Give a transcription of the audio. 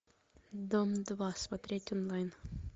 дом два смотреть онлайн